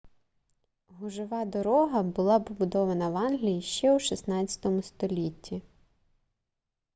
гужова дорога була побудована в англії ще у 16 столітті